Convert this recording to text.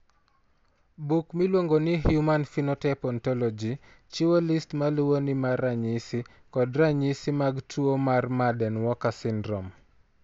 Buk miluongo ni Human Phenotype Ontology chiwo list ma luwoni mar ranyisi kod ranyisi mag tuo mar Marden Walker syndrome.